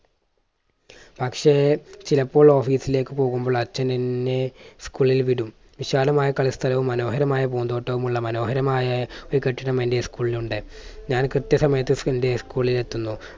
പക്ഷേ ചിലപ്പോൾ office ലേക്ക് പോകുമ്പോൾ അച്ഛൻ എന്നെ school ൽ വിടും. വിശാലമായ കളി സ്ഥലവും മനോഹരമായ പൂന്തോട്ടവും ഉള്ള മനോഹരമായ ഒരു കെട്ടിടം എൻറെ school ൽ ഉണ്ട്. ഞാൻ കൃത്യസമയത്ത് എൻറെ school ൽ എത്തുന്നു.